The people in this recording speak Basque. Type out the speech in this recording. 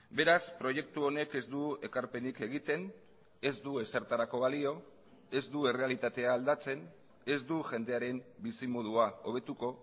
beraz proiektu honek ez du ekarpenik egiten ez du ezertarako balio ez du errealitatea aldatzen ez du jendearen bizimodua hobetuko